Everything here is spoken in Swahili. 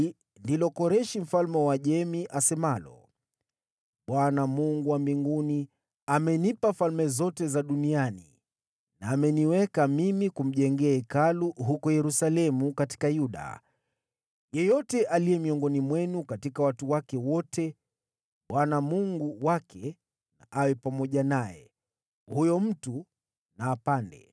“Hili ndilo asemalo Koreshi mfalme wa Uajemi: “‘ Bwana , Mungu wa mbinguni, amenipa falme zote duniani, na ameniagiza kumjengea Hekalu huko Yerusalemu katika Yuda. Yeyote wa watu wake miongoni mwenu, Mungu wake na awe pamoja naye, wacha huyo mtu na apande.’ ”